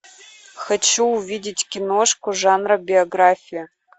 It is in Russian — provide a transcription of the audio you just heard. хочу увидеть киношку жанра биография